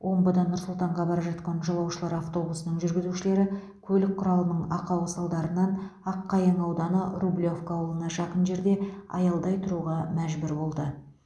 омбыдан нұр сұлтанға бара жатқан жолаушылар автобусының жүргізушілері көлік құралының ақауы салдарынан аққайың ауданы рублевка ауылына жақын жерде аялдай тұруға мәжбүр болды